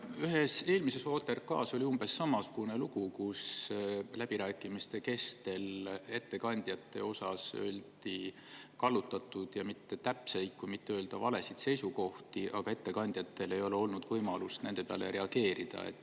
Ühe eelmise OTRK ajal oli umbes samasugune lugu, et läbirääkimiste kestel avaldati ettekandjate kohta kallutatud ja mittetäpseid, et mitte öelda valesid seisukohti, aga ettekandjatel ei olnud võimalust reageerida.